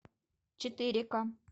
четыре ка